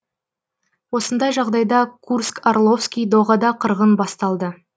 осындай жағдайда курск орловский доғада қырғын басталды